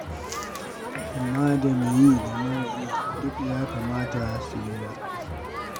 Amma da me yi da mara yi, duk ya kamata su lura.